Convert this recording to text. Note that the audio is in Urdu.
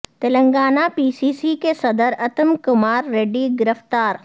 تلنگانہ پی سی سی کے صدر اتم کمار ریڈی گرفتار